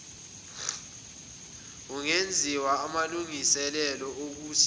kungenziwa aamlungiselelo okuthi